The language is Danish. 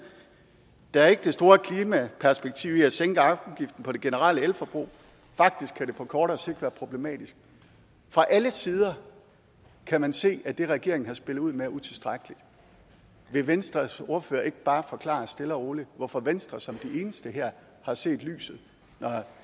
der er ikke det store klimaperspektiv i at sænke afgiften på det generelle elforbrug faktisk kan det på kortere sigt være lidt problematisk fra alle sider kan man se at det regeringen har spillet ud med er utilstrækkeligt vil venstres ordfører ikke bare forklare stille og roligt hvorfor venstre som de eneste her har set lyset når